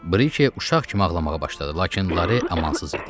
Brikey uşaq kimi ağlamağa başladı, lakin Larey amansız idi.